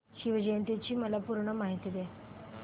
शिवजयंती ची मला पूर्ण माहिती दे